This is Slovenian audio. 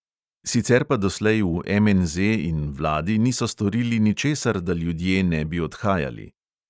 Sicer pa doslej v MNZ in vladi niso storili ničesar, da ljudje ne bi odhajali.